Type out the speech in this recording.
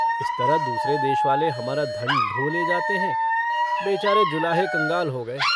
इस तरह दूसरे देशवाले हमारा धन ढो ले जाते हैं बेचारे जुलाहे कंगाल हो गये।